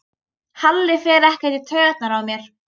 Halli fer ekkert í taugarnar á mér.